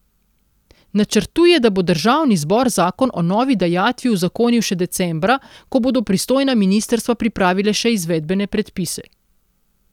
Načrtuje, da bo državni zbor zakon o novi dajatvi uzakonil še decembra, ko bodo pristojna ministrstva pripravila še izvedbene predpise.